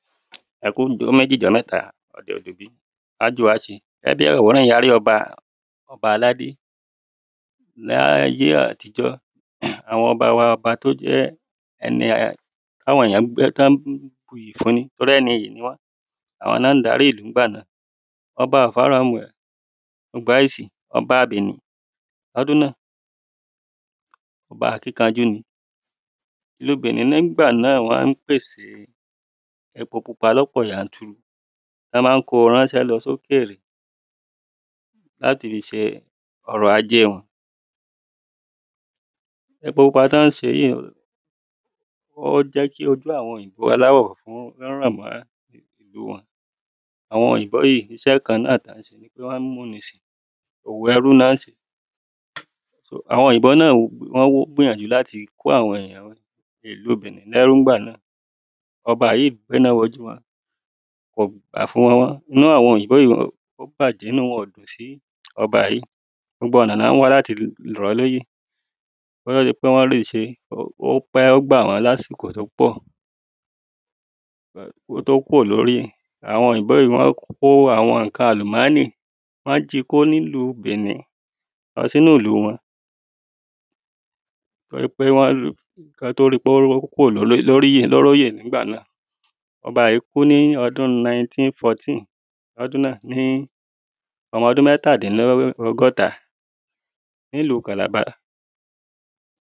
Ẹkú Aájò á ṣe Lábẹ́ àwòrán yìí a rí ọba ọba aládé Ní ayé àtijọ́ Àwọn ọba wa ọba tí ó jẹ́ um tí àwọn èyàn ń um tí wọ́n ń buyì fún nítorí ẹni ìyì ni wọ́n Àwọn ni wọ́n ń darí ìlú nígbà náà Ọba ó Ọba Benin ní ọdún náà Ọba akíkanjú ni Ìlú Benin nígbà náà wọ́n ń pèsè epo pupa lọ́pọ̀ yanturu Wọ́n ma ń ko ránṣẹ́ lọ sí òkèrè láti fi ṣe ọrọ̀ ajé wọn Epo pupa tí wọn ń ṣe yìí ó jẹ́ kí ojú àwọn òyìnbó aláwọ̀ funfun ó ràn mọ́ [?| Àwọn òyìǹbó yìí iṣẹ́ kan náà tí wọ́n ń ṣe owò ẹrú ni wọ́n ń ṣe So àwọn òyìǹbó náà wọ́n gbìyànjú láti kó àwọn èyàn ìlú Benin ní ẹrú nígbà náà Ọba yìí gbé iná wo ojú wọn Kò gbà fún wọn mọ́ inú àwọn òyìǹbó yìí ó bàjẹ́ Inú wọn ò dùn sí ọba yìí Gbogbo ọ̀nà tí wọ́n ń wá láti fi rọ̀ ọ́ lóyè Kí ó tó di pé wọ́n lè ṣe é ó pẹ́ Ó gbà wọ́n ní àsìkò tí ó pọ̀ Kí ó tó kúrò lóri àwọn òyìnbó yìí wọ́n kó àwọn nǹkan àlùmánì wọ́n ji kó ní ìlú Benin lọ sí inú ìlú wọn um kí wọ́n tó ri pé ó kúrò ní orí òyè nígbà náà Ọba yìí kú ní ọdún nineteen fourteen ní ọdún náà ní ọmọ ọdún mẹ́tà dín ní ọgọ́ta ní ìlú Calabar